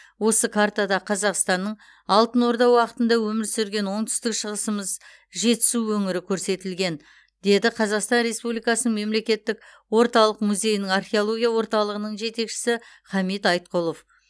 осы картада қазақстанның алтын орда уақытында өмір сүрген оңтүстік шығысымыз жетісу өңірі көрсетілген деді қазақстан республикасының мемлекеттік орталық музейінің археология орталығының жетекшісі хамит айтқұлов